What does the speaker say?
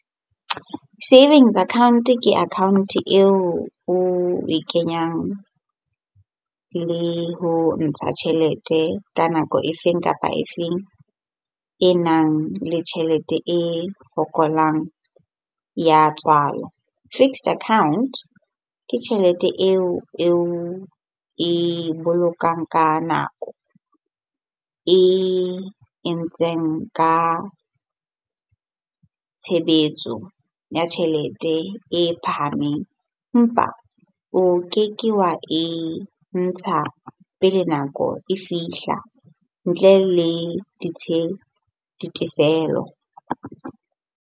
Savings account-e ke account-e eo oe kenyang le ho ntsha tjhelete ka nako e feng kapa e feng e nang le tjhelete e fokolang ya tswala. Fixed account ke tjhelete eo oe bolokang ka nako. E entseng ka tshebetso ya tjhelete e phahameng empa o keke wa e ntsha pele nako e fihla ntle le ditefelo.